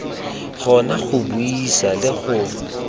kgona go buisa le go